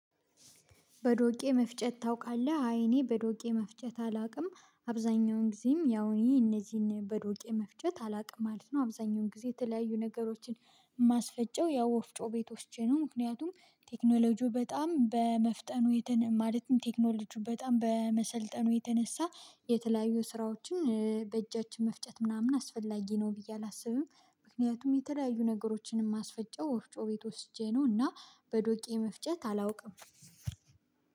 በዶቄ መፍጨት ታውቃለህ? አይ እኔ በዶቄ መፍጨት አላውቅም አብዛኛውን ጊዜም ያው እነዚህን በዶቄ መፍጨት አላውቅም ማለት ነው አብዛኛውን ጊዜ የተለያዩ ነገሮችን የማስፈጨው ያው ወፍጮ ቤት ወስጄ ነው ምክንያቱም ቴክኖሎጂው በጣም በመፍጠኑ የተነ ማለትም ቴክኖሎጂው በጣም በመሰልጠኑ የተነሳ የተለያዩ ስራዎችን በእጃችን መፍጨት ምናምን አስፈላጊ ነው ብዬ አላስብም ምክንያቱም የተለያዩ ነገሮችን እማስፈጨው ወፍጮ ቤት ወስጄ ነው እና በዶቄ መፍጨት አላውቅም